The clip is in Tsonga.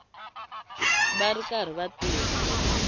va ri karhi va tirha